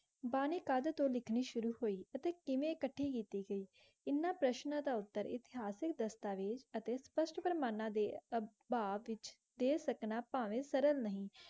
ਬਾਨੀ ਕਦੇ ਤੋ ਲਿਖਣੀ ਸ਼ੁਰੂ ਹੋਈ ਓਤੇ ਕਿਵੇ ਅਕਾਤੀ ਗਈ ਏਨਾ ਪ੍ਰੇਸ਼੍ਨੁਰ ਤਾ ਉਤੇ ਇਤਹਾਸ ਦਾਸ੍ਤਾਵੈਜ਼ ਤਾ ਪਸ਼੍ਤ ਕੇਰ੍ਮਾਨਾ ਦੇ